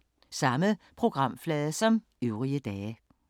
Samme programflade som øvrige dage